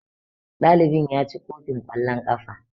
Ɗalibin ya ci kofin kwallon kafa.